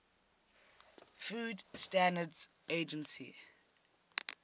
food standards agency